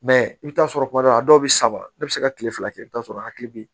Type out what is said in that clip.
Mɛ i bɛ t'a sɔrɔ kuma dɔ la a dɔw bɛ saba ne bɛ se ka kile fila kɛ i bɛ t'a sɔrɔ a hakili bɛ yen